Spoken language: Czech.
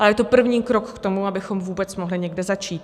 A je to první krok k tomu, abychom vůbec mohli někde začít.